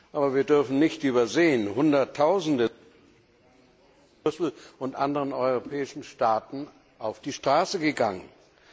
Aber wir dürfen nicht übersehen, dass Hunderttausende in Brüssel und in anderen europäischen Städten auf die Straße gegangen sind.